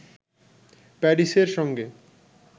প্যারিসের সঙ্গে